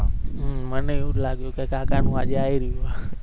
હમ મને જ એવુ જ લાગ્યો કે કાકા નુ આજે આઈ રહ્યો